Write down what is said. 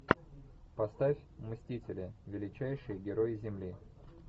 поставь мстители величайшие герои земли